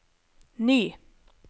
ny